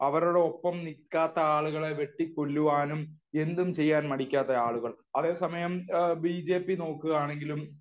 അവരുടെ ഒപ്പം നിക്കാത്ത ആളുകളെ വെട്ടി കൊല്ലുവാനും എന്തും ചെയ്യാൻ മടിക്കാത്ത ആളുകൾ. അതേ സമയം ബി ജെ പി നോക്കുക ആണെങ്കിലും